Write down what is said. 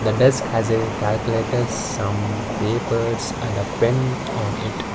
the desk has a calculators some papers and a pen on it.